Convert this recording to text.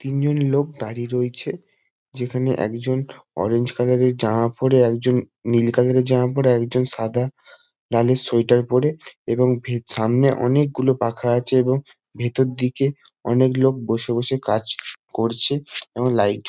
তিনজন লোক দাঁড়িয়ে রয়েছে। যেখানে একজন অরেঞ্জ কালার -এর জামা পরে একজন নীল কালার -এর জামা পরে। একজন সাদা লালের সোয়েটার পরে এবং ভে সামনে অনেকগুলো পাখা আছে এবং ভেতর দিকে অনেক লোক বসে বসে কাজ করছে এবং লাইট --